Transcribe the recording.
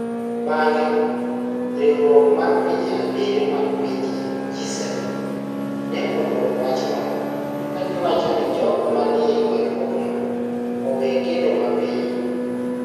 Bang'e, Riwruok mar Pinje Abiriyo mag Pinje (G7) ne odwoko wachno ka giwacho ni jogo manie ywaruokno owe kedo mapiyo.